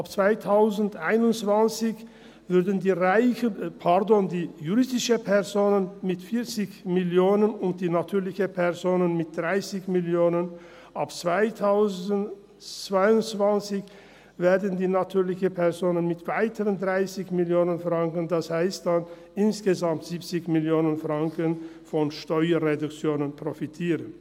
Ab 2021 würden die Reichen, pardon, die juristischen Personen mit 40 Mio. Franken und die natürlichen Personen mit 30 Mio. Franken, ab 2022 würden die natürlichen Personen mit weiteren 30 Mio. Franken – das heisst dann insgesamt 70 Mio. Franken – von Steuerreduktionen profitieren.